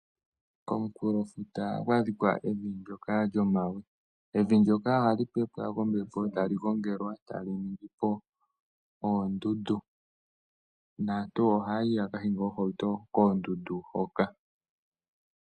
Komunkulofuta ohaku adhika evi ndyoka lyomawe, evi ndyoka ohali pepwa kombepo etali gongelwa, etali ningipo oondundu, naantu ohaya yi ya kahinge oohauto koondundu hoka.